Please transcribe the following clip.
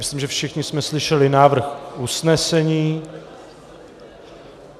Myslím, že všichni jsme slyšeli návrh usnesení.